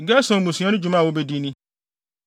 “Gerson mmusua no dwuma a wobedi ni: